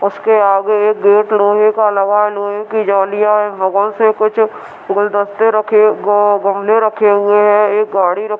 इसके आगे एक गेट लोहे का लगा है। लोहे की जलीयां है बगल से कुछ गुलदस्ते रखे गा गमले रखे हुए हैं। एक गाड़ी रखी --